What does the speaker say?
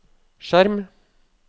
skjerm